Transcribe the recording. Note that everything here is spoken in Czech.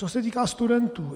Co se týká studentů.